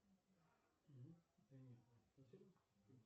джой не расслышал громче если можно